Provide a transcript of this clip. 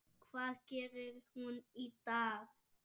Hvað gerir hún í dag?